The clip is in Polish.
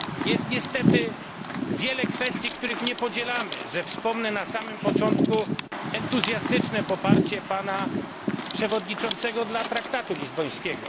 Jest niestety wiele kwestii, których nie podzielamy, że wspomnę na samym początku entuzjastyczne poparcie pana przewodniczącego dla traktatu lizbońskiego.